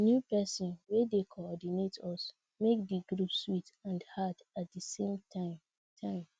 di new pesin wey dey cordinate us make di group sweet and hard at di same time time